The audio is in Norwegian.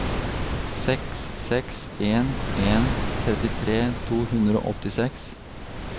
seks seks en en trettitre to hundre og åttiseks